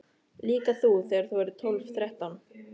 Líka þú þegar þú verður tólf, þrettán.